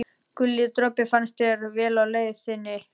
Guli dropi, farnist þér vel á leið þinni.